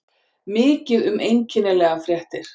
Mikið um einkennilegar fréttir